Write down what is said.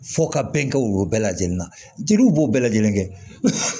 Fo ka bɛn kɛ o bɛɛ lajɛlen na jeliw b'o bɛɛ lajɛlen kɛ